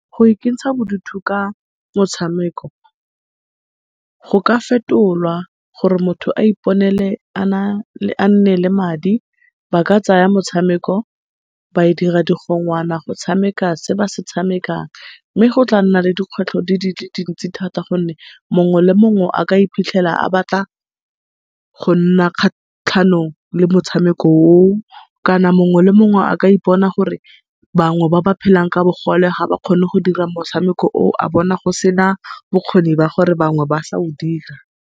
Go ikentsha bodutu ka motshameko, go ka fetolwa gore motho a iponele a nne le madi. Ba ka tsaya motshameko ba dira mogongwana go tshameka se ba se tshamekang. Mme go tla nna le dikgwetlho dile dintsi thata gonne mongwe le mongwe a ka iphitlhela a batla go nna kgatlhanong le motshameko oo, kana mongwe le mongwe a ka ipona gore bangwe ba ba phelang ka bogole, ga ba kgone go dira motshameko o, a bona go se na bokgoni ba gore bangwe ba sa o dira.